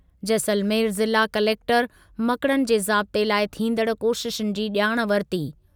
जैसलमेर ज़िला कलेक्टरु मकड़नि जे ज़ाब्ते लाइ थींदड़ कोशिशुनि जी ॼाण वरिती।